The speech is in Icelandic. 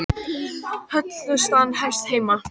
Hollustan hefst heima